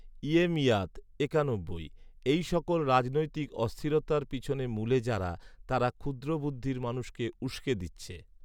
ইয়েমইয়াত একানব্বই, এই সকল রাজনৈতিক অস্থিরতার পেছনে মূলে যারা, তারা ক্ষুদ্র বুদ্ধির মানুষকে উসকে দিচ্ছে